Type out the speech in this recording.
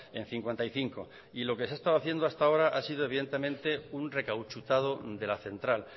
en cincuenta y cinco y lo que se ha estado haciendo hasta ahora ha sido evidentemente un recauchutado de la central